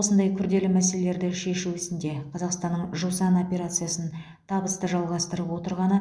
осындай күрделі мәселелерді шешу ісінде қазақстанның жусан операциясын табысты жалғастырып отырғаны